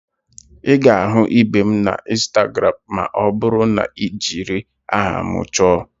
Ị ga-ahụ ibe m na instagramụ ma ọ bụrụ na ị jiri aha m chọọ